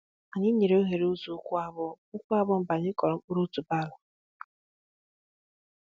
Anyị nyèrè oghere ụzọ ụkwụ abụọ ụkwụ abụọ mgbe anyị kụrụ mkpụrụ otuboala